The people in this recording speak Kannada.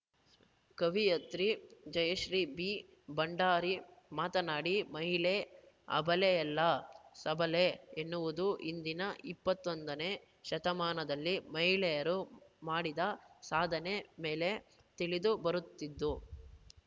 ಕವಿಯತ್ರಿ ಜಯಶ್ರೀ ಬಿ ಭಂಡಾರಿ ಮಾತನಾಡಿ ಮಹಿಳೆ ಅಬಲೆಯಲ್ಲ ಸಬಲೆ ಎನ್ನುವುದು ಇಂದಿನ ಇಪ್ಪತ್ತೊಂದನೇ ಶತಮಾನದಲ್ಲಿ ಮಹಿಳೆಯರು ಮಾಡಿದ ಸಾಧನೆ ಮೇಲೆ ತಿಳಿದು ಬರುತ್ತಿದ್ದು